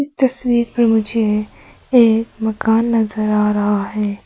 इस तस्वीर में मुझे एक गांव नजर आ रहा है।